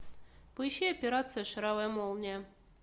поищи операция шаровая молния